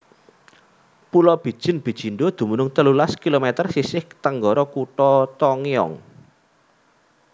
Pulo Bijin Bijindo dumunung telulas kilometer sisih tenggara Kutha Tongyeong